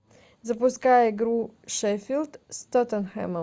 запускай игру шеффилд с тоттенхэмом